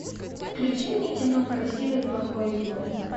включи мне кино красивый плохой злой